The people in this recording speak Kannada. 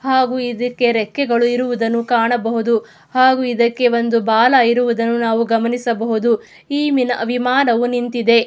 ಹಾಗು ಇದಕ್ಕೆ ರೆಕ್ಕೆಗಳು ಇರುವುದನ್ನು ಕಾಣಬಹುದು ಹಾಗು ಇದಕ್ಕೆ ಒಂದು ಬಾಲ ಇರುವುದನ್ನು ಗಮನಿಸಬಹುದು.ಈ ವಿಮಾನವು ನಿಂತಿದೆ.